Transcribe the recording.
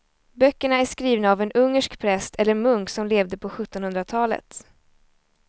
Böckerna är skrivna av en ungersk präst eller munk som levde på sjuttonhundratalet.